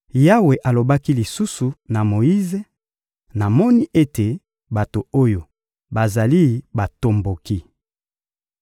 Yawe alobaki lisusu na Moyize: — Namoni ete bato oyo bazali batomboki.